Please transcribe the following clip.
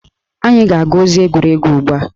Anyị ga-agụ ozi egwuregwu ugbua